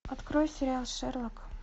открой сериал шерлок